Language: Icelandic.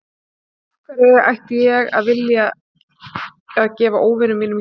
Af hverju ætti ég að vilja að gefa óvinum mínum jólagjafir?